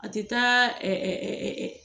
A ti taa